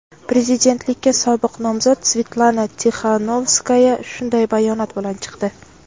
prezidentlikka sobiq nomzod Svetlana Tixanovskaya shunday bayonot bilan chiqdi.